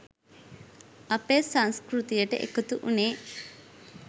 අපේ සංස්කෘතියට එකතුවුණේ?